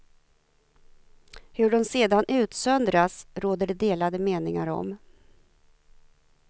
Hur de sedan utsöndras råder det delade meningar om.